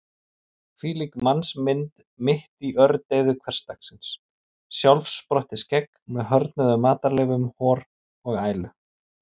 Hvílík mannsmynd mitt í ördeyðu hversdagsins: sjálfsprottið skegg með hörðnuðum matarleifum, hor og ælu.